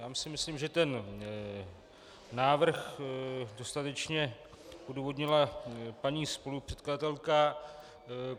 Já myslím, že ten návrh dostatečně odůvodnila paní spolupředkladatelka.